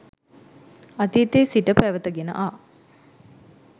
අතීතයේ සිට පැවැත ගෙන ආ